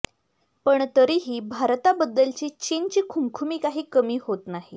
पण तरीही भारताबद्दलची चीनची खुमखुमी काही कमी होत नाही